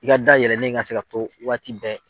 I ka dayɛlɛnnen ka se ka to waati bɛɛ.